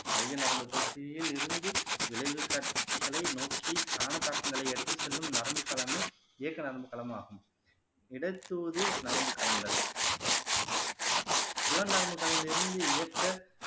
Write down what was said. மைய நரம்பு தொகுதியிலிருந்து விளைவு கட்டிகளை நோக்கி காண சாக்குகளை எடுத்து செல்லும் நரம்புகளுமே இயக்க நரம்பு களமாகும் இடத்தூது நரம்பு களங்கள் புலன் நரம்புகளிலிருந்து இயக்க